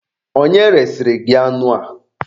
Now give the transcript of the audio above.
Onye resịrị gị anụ a?